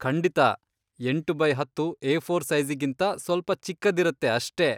ಖಂಡಿತ, ಎಂಟು ಬೈ ಹತ್ತು ಏಫೋರ್ ಸೈಜಿಗಿಂತಾ ಸ್ವಲ್ಪ ಚಿಕ್ಕದಿರತ್ತೆ ಅಷ್ಟೇ.